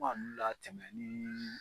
kɔnkɔn ninnu latɛmɛn ni